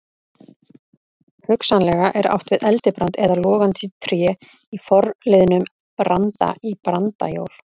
Hugsanlega er átt við eldibrand eða logandi tré í forliðnum branda- í brandajól.